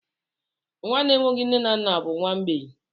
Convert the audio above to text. Nwa na-enweghị nne na nna bụ nwa mgbei.